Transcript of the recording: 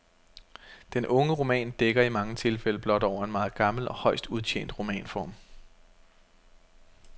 Den unge roman dækker i mange tilfælde blot over en meget gammel og højst udtjent romanform.